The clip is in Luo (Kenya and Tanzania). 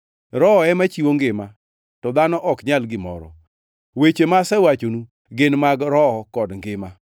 Roho ema chiwo ngima; to dhano ok nyal gimoro. Weche ma asewachonu gin mag Roho kod ngima.